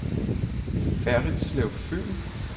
Ferritslev Fyn